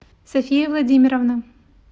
софия владимировна